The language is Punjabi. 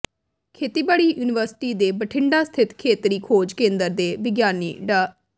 ਖੇਤੀਬਾੜੀ ਯੂਨੀਵਰਸਿਟੀ ਦੇ ਬਠਿੰਡਾ ਸਥਿਤ ਖੇਤਰੀ ਖੋਜ ਕੇਂਦਰ ਦੇ ਵਿਗਿਆਨੀ ਡਾ